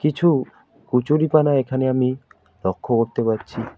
কিছু কচুরিপানা এখানে আমি লক্ষ্য করতে পারছি।